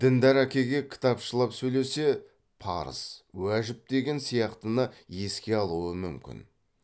діндәр әкеге кітапшылап сөйлесе парыз уажіп деген сияқтыны еске алуы мүмкін